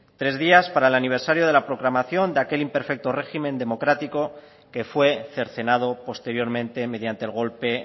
tres días para el aniversario de la proclamación de aquel imperfecto régimen democrático que fue cercenado posteriormente mediante el golpe